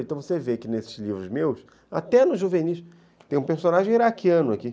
Então você vê que nesses livros meus, até no juvenis, tem um personagem iraquiano aqui.